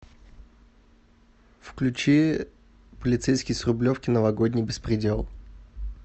включи полицейский с рублевки новогодний беспредел